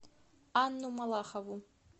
анну малахову